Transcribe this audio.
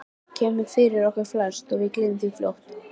Það kemur fyrir okkur flest og við gleymum því fljótt.